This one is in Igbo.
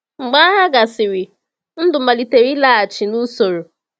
Mgbe agha gasịrị, ndụ malitere ịlaghachi n’usoro.